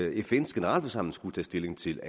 fns generalforsamling skulle tage stilling til